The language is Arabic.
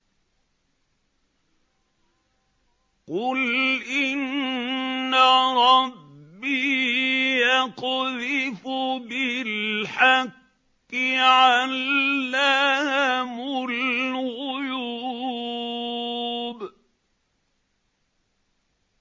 قُلْ إِنَّ رَبِّي يَقْذِفُ بِالْحَقِّ عَلَّامُ الْغُيُوبِ